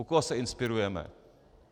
U koho se inspirujeme?